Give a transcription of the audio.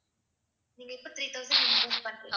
நீங்க இப்ப three thousand invest பண்றீங்க.